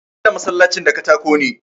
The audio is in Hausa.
An gina masallacin da katako ne.